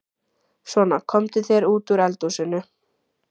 Svona, komdu þér út úr eldhúsinu.